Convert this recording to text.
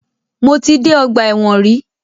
Mo ti dé ọgbà ẹ̀wọ̀n rí.